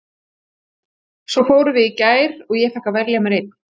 Svo fórum við í gær og ég fékk að velja mér einn.